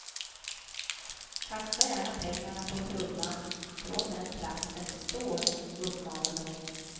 Kasta gärna pengarna på trumman från den plats där ni står, uppmanade hon.